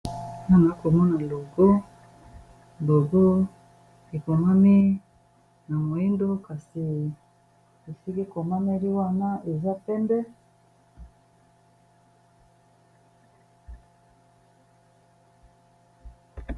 Naza komona logo, logo ekomami na moyindo kasi esili komameli wana eza pembe.